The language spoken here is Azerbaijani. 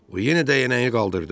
O yenə dəyənəyi qaldırdı.